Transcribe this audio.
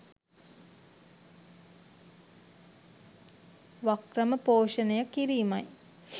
වක්‍රම පෝෂණය කිරීමයි